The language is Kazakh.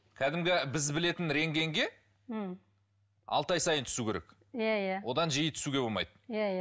кәдімгі біз білетін рентгенге м алты ай сайын түсу керек иә иә одан жиі түсуге болмайды иә иә